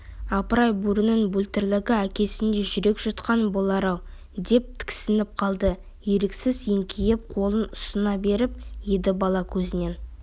апыр-ай бөрінің бөлтірігі әкесіндей жүрек жұтқан болар-ау деп тіксініп қалды еріксіз еңкейіп қолын ұсына беріп еді бала көзінен